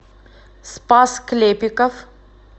спас клепиков